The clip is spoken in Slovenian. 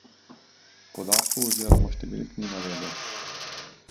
Podatkov oziroma številk ni navedel.